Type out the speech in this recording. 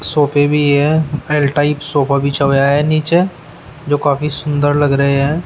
सोफे भी है एल टाइप सोफा बिछा हुआ है नीचे जो काफी सुंदर लग रहे हैं।